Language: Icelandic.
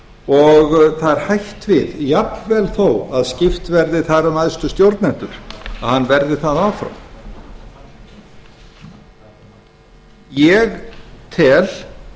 og það er hætt við jafnvel þó skipt verði þar um æðstu stjórnendur að hann verði það áfram ég tel